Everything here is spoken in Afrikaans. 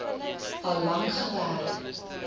al lank gewerk